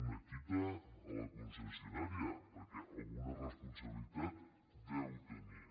un quitament a la concessi·onària perquè alguna responsabilitat deu tenir